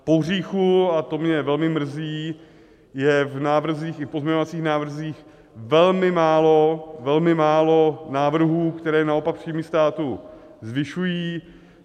Pohříchu, a to mě velmi mrzí, je v návrzích i v pozměňovacích návrzích velmi málo, velmi málo návrhů, které naopak příjmy státu zvyšují.